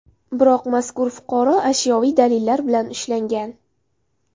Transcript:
Biroq mazkur fuqaro ashyoviy dalillar bilan ushlangan.